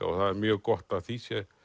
og það er mjög gott að því sé